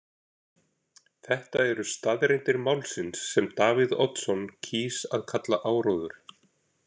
Þetta eru staðreyndir málsins sem Davíð Oddsson kýs að kalla áróður.